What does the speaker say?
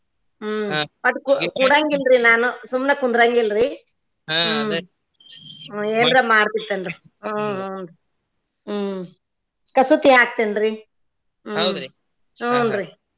ಹ್ಮ್ ಒಟ್ ಕೂಡಾ ಕೂಡಾಂಗಿಲ್ರಿ ನಾನು ಸುಮ್ನ ಕುಂದ್ರಾಗಿಲ್ಲರಿ ಹಾ ಅದೇ ಹ್ಮ್ ಏನ್ರಾ ಮಾಡಬೇಕ್ ಅಲ್ರೀ ಹ್ಮ್ ಹುನ್ರೀ ಹ್ಮ್ ಕಸೂತಿ ಹಾಕ್ತಿನ್ರಿ ಹುನ್ರೀ.